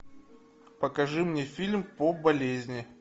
покажи мне фильм по болезни